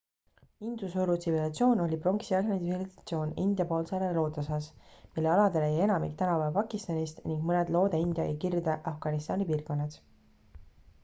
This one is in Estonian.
induse oru tsivilisatsioon oli pronksiaegne tsivilisatsioon india poolsaare loodeosas mille aladele jäi enamik tänapäeva pakistanist ning mõned loode-india ja kirde-afganistani piirkonnad